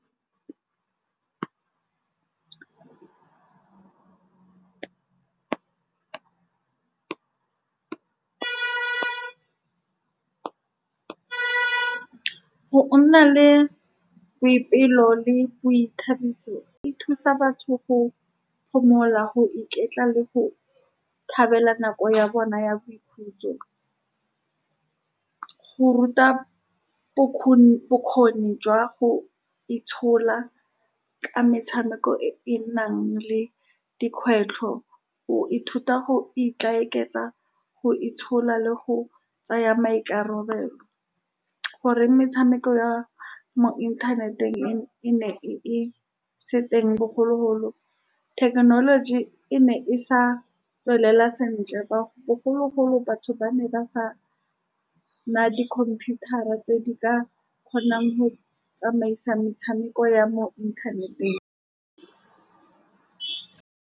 Go nna le boipelo le boithabiso e thusa batho go phomola, go iketla le go thabela nako ya bona ya boikhutso. Go ruta bokgoni jwa go itshola ka metshameko e e nang le dikgwetlho, o ithuta go ikaketsa, go itshola le go tsaya maikarabelo. Gore metshameko ya mo inthaneteng e ne e se teng bogologolo, thekenoloji e ne e sa tswelela sentle. Ba bogologolo, batho ba ne ba sa naya di computer tse di ka kgonang go tsamaisa metshameko ya mo inthaneteng.